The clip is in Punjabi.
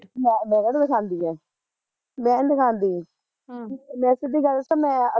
ਮੈਂ ਕਿਹੜਾ ਦਿਖਾਂਦੀ ਐ ਮੈਨੀ ਦਿਖਾਂਦੀ ਹਮ ਮੈਂ ਸਿੱਧੀ ਗੱਲ ਦੱਸਾਂ ਮੈਂ